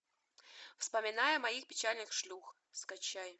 вспоминая моих печальных шлюх скачай